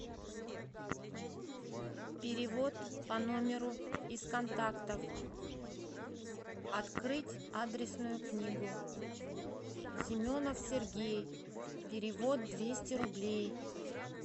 перевод по номеру из контактов открыть адресную книгу семенов сергей перевод двести рублей